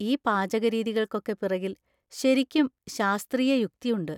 ഈ പാചകരീതികൾക്കൊക്കെ പിറകിൽ ശരിക്കും ശാസ്ത്രീയയുക്തി ഉണ്ട്.